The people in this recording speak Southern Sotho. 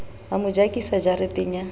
a mo jakisa jareteng ya